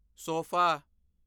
sofa